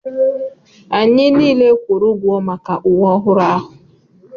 Anyị niile kwụrụ ụgwọ maka uwe ọhụrụ ahụ.